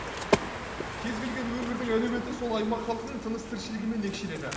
кез келген өңірдің әлеуеті сол аймақ халқының тыныс тіршілігімен екшеледі